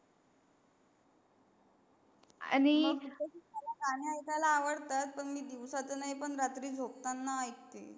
मला गाणे ऐकायला आवडतात, पण मी दिवसात नाही पण रात्री झोपताना ऐकते.